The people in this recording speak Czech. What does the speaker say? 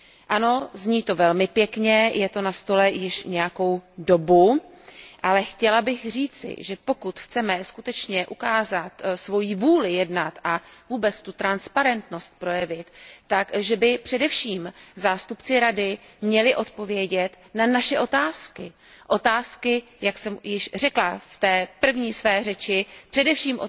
Ano, zní to velmi pěkně, je to na stole již nějakou dobu, ale chtěla bych říci, že pokud chceme skutečně ukázat svoji vůli jednat a vůbec tu transparentnost projevit, tak by především zástupci Rady měli odpovědět na naše otázky, otázky, jak jsem již řekla v té své první řeči, především